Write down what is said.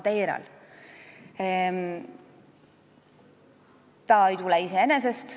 See ei tule iseenesest.